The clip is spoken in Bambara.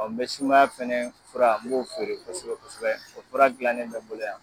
mɛ sumaya fɛnɛ fura m'o feere kosɛbɛ kosɛbɛ o fura gilannen bɛ n bolo yan.